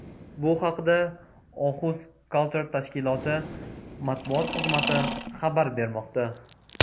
Bu haqda Oxus Culture tashkiloti matbuot xizmati xabar bermoqda.